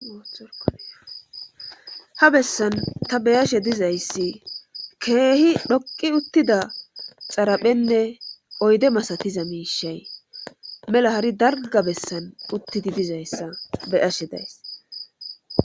ha bessan ta beyashe dizayssi keehi dhoqi uttida xaraphenne oyde masatiza miishay mela hari dalga bessan uttidi dizayssa beyashe days